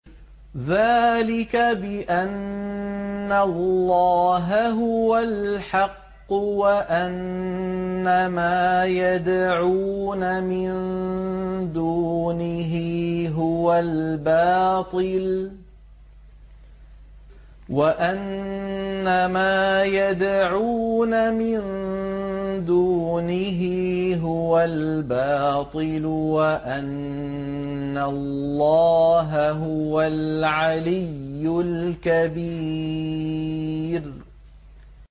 ذَٰلِكَ بِأَنَّ اللَّهَ هُوَ الْحَقُّ وَأَنَّ مَا يَدْعُونَ مِن دُونِهِ هُوَ الْبَاطِلُ وَأَنَّ اللَّهَ هُوَ الْعَلِيُّ الْكَبِيرُ